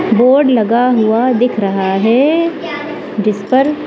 board लगा हुआ दिख रहा है जिस पर--